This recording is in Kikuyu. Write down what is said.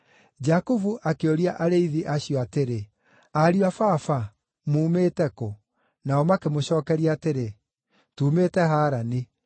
Jakubu akĩũria arĩithi acio atĩrĩ, “Ariũ a baba, muumĩte kũ?” Nao makĩmũcookeria atĩrĩ, “Tuumĩte Harani.”